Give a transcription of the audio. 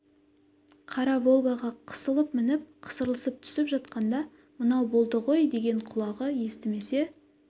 қара волгаға қысылып мініп қысылып түсіп жатқанда мынау болды ғой деген құлағы естімесе